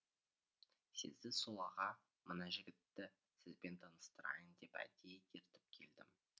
сезді сол аға мына жігітті сізбен таныстырайын деп әдейіге ертіп келдім